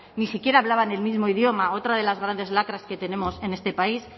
ni siquiera hablaban el mismo idioma otra de las grandes lacras que tenemos en este país